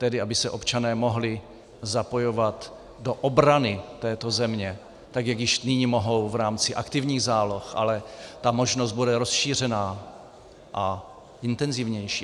Tedy aby se občané mohli zapojovat do obrany této země tak, jak již nyní mohou v rámci aktivních záloh, ale ta možnost bude rozšířena a intenzivnější.